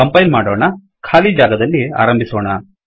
compile ಮಾಡೋಣ ಖಾಲಿ ಜಾಗದಲ್ಲಿ ಆರಂಭಿಸೋಣ